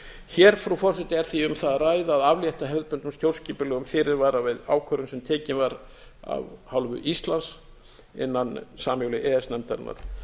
hér frú forseti er því um það að ræða að aflétta hefðbundnum stjórnskipulegum fyrirvara við ákvörðun sem tekin var af hálfu íslands innan sameiginlegu e e s nefndarinnar